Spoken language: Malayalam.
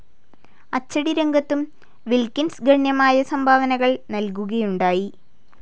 അച്ചടിരംഗത്തും വിൽകിൻസ് ഗണ്യമായ സംഭാവനകൾ നൽകുകയുണ്ടായി.